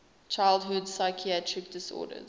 childhood psychiatric disorders